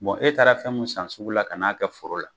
e taara fɛn mun san sugu la ka n'a kɛ foro la.